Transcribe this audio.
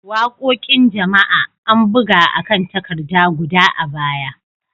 Waƙoƙin jama'a, an buga a kan takarda guda a baya.